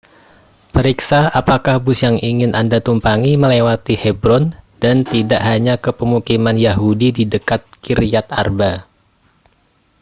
periksa apakah bus yang ingin anda tumpangi melewati hebron dan tidak hanya ke pemukiman yahudi di dekat kiryat arba